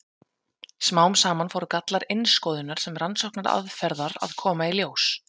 Smám saman fóru gallar innskoðunar sem rannsóknaraðferðar að koma í ljós.